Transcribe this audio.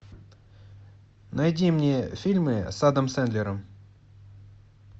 найди мне фильмы с адам сэндлером